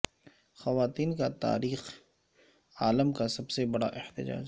خواتین کا تاریخ عالم کا سب سے بڑا احتجاج